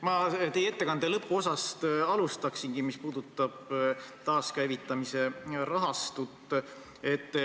Ma alustangi teie ettekande lõpuosast, mis puudutas taaskäivitamise rahastut.